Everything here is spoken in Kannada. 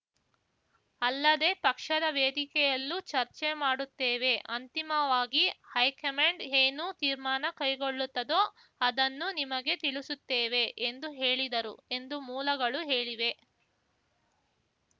ಅಲ್ಲದೆ ಪಕ್ಷದ ವೇದಿಕೆಯಲ್ಲೂ ಚರ್ಚೆ ಮಾಡುತ್ತೇವೆ ಅಂತಿಮವಾಗಿ ಹೈಕಮಾಂಡ್‌ ಏನು ತೀರ್ಮಾನ ಕೈಗೊಳ್ಳುತ್ತದೋ ಅದನ್ನು ನಿಮಗೆ ತಿಳಿಸುತ್ತೇವೆ ಎಂದು ಹೇಳಿದರು ಎಂದು ಮೂಲಗಳು ಹೇಳಿವೆ